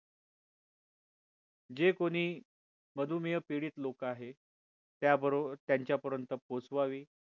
जे कोणी मधुमेह पीडित लोक आहे त्याबरोबर त्यांच्या पर्यंत पोहचवावी